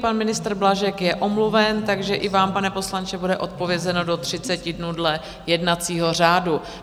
Pan ministr Blažek je omluven, takže i vám, pane poslanče, bude odpovězeno do 30 dnů dle jednacího řádu.